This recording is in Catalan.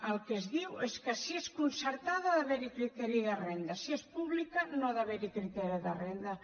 el que es diu és que si és concertada ha d’haver hi criteri de renda si és pública no ha d’haver hi criteri de renda